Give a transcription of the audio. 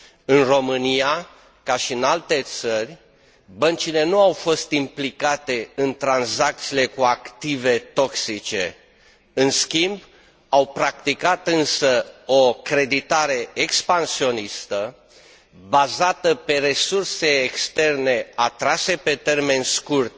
În România, ca și în alte țări, băncile nu au fost implicate în tranzacțiile cu active toxice, în schimb, au practicat, însă, o creditare expansionistă bazată pe resurse externe atrase pe termen scurt